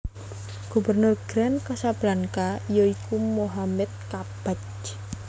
Gubernur Grand Casablanca yaiku Mohammed Kabbaj